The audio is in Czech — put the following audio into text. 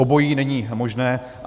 Obojí není možné.